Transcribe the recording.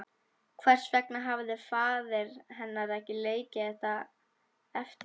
Hvers vegna hafði faðir hennar ekki leikið þetta eftir?